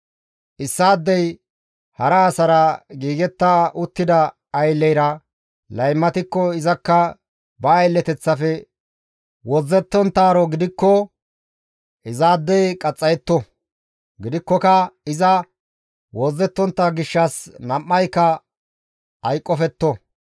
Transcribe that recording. « ‹Issaadey hara asara giigetta uttida aylleyra laymatikko izakka ba aylleteththafe wozzettonttaaro gidikko izaadey qaxxayetto; gidikkoka iza wozzettontta gishshas nam7ayka hayqqofetto.